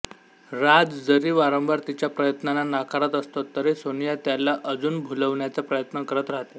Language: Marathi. राज जरी वारंवार तिच्या प्रयत्नांना नाकारत असतो तरी सोनिया त्याला अजून भुलवण्याचा प्रयत्न करत राहते